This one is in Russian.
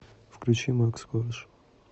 включи макс корж